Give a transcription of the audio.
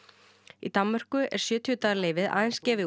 í Danmörku er sjötíu daga leyfið aðeins gefið